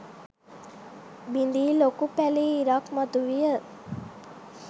බිඳී ලොකු පැලී ඉරක් මතුවිය.